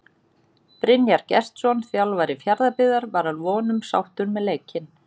Brynjar Gestsson þjálfari Fjarðabyggðar var að vonum sáttur með leikinn.